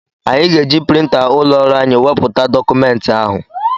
Anyị ga-eji printa ụlọ ọrụ anyị wepụta dọkụmenti ahụ.